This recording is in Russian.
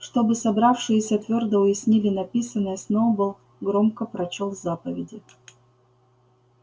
чтобы собравшиеся твёрдо уяснили написанное сноуболл громко прочёл заповеди